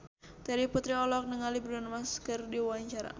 Terry Putri olohok ningali Bruno Mars keur diwawancara